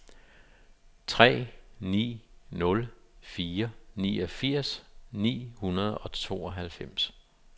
tre ni nul fire niogfirs ni hundrede og tooghalvfems